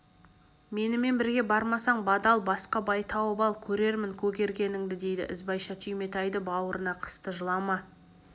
менімен бірге бармасаң бадал басқа бай тауып ал көрермін көгергеніңді дейді ізбайша түйметайды бауырына қысты жылама